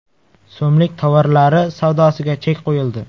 so‘mlik tovarlari savdosiga chek qo‘yildi.